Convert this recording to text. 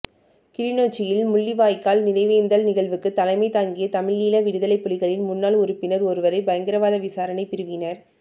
கிளிநொச்சியில் முள்ளிவாய்க்கால் நினைவேந்தல் நிகழ்வுக்கு தலைமை தாங்கிய தமிழீழ விடுதலைப் புலிகளின் முன்னாள் உறுப்பினர் ஒருவரை பயங்கரவாத விசாரணைப் பிரிவினர்